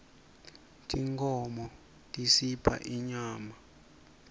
tinkhmo tisipha inyama